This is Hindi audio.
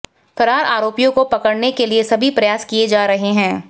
फरार आरोपियों को पकड़ने के लिए सभी प्रयास किए जा रहे हैं